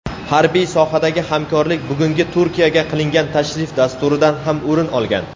harbiy sohadagi hamkorlik bugungi Turkiyaga qilingan tashrif dasturidan ham o‘rin olgan.